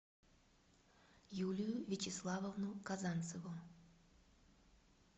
юлию вячеславовну казанцеву